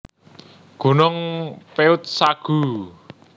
Gunung Peuet Sague